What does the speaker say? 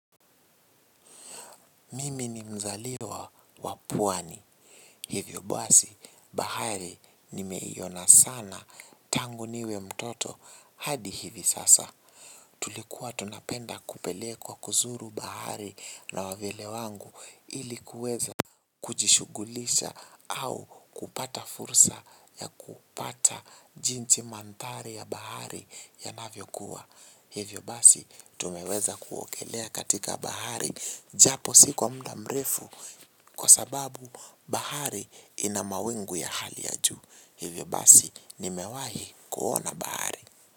Mimi ni mzaliwa wa pwani, hivyo basi bahari nimeiona sana tangu niwe mtoto hadi hivi sasa. Tulikuwa tunapenda kupelekwa kuzuru bahari na wawili wangu ili kuweza kujishughulisha au kupata fursa ya kupata jinsi mandhari ya bahari yanavyokuwa. Hivyo basi tumeweza kuogelea katika bahari japo si kwa muda mrefu kwa sababu bahari ina mawingu ya hali ya juu. Hivyo basi nimewahi kuona bahari.